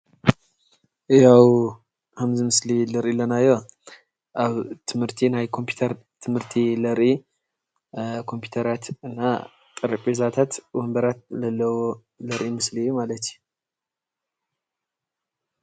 ኣብ ምስሊ እንሪኦ ዘለና ኣብ ትምህርቲ ናይ ወንቧራት ፣ ጠረቤዛ ዘርኢ ምሦሊ እዩ።